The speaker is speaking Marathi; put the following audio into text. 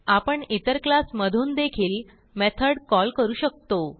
आपण इतर क्लास मधून देखील मेथड कॉल करू शकतो